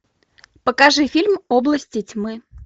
покажи фильм области тьмы